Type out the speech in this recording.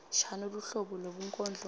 shano luhlobo lwebunkondlo